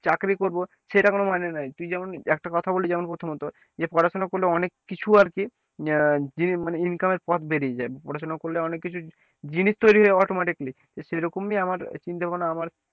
চাকরি করব সেটা কোন মানে নয় তুই যেমন একটা কথা বললি যেমন প্রথমত যে পড়াশোনা করলে অনেক কিছু আর কি আহ যে মানে income এর পথ বেরিয়ে যায়, পড়াশোনা করলে অনেক কিছু জিনিস তৈরি হয়ে যায় automatically যে সেরকমই আমার চিন্তা ভাবনা আমার,